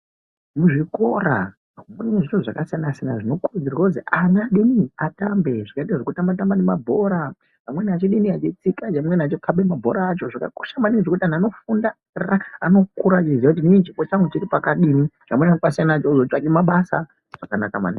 Muzvikoro kune zviro zvakasiyana siyana zvinokuridzirwa kuti ana deni atambe zvakaita zvekutambetambe nemabhora amweni achidini achikhabe mabhora acho zvakakosha maningi zvekuti antu anofunda anokura achiziya kuti inin chipo changu chiripakadini chamunopasiyana nacho chekuzotsvake nacho mabasa zvakanaka maningi